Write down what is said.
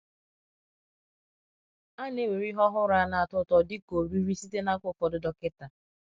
A na-ewere ihe ọhụrụ a na-atọ ụtọ dị ka ọrịrịrị site n’aka ụfọdụ dọkịta.